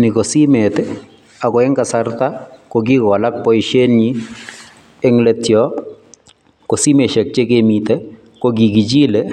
Ni ko simet ako eng kasarta kikowalak boisienyin, eng let yo ko simesiek che kimitei ko kikichilei